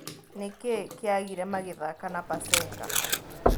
Nĩkĩĩ kĩagĩre magĩthaka na Pasenga?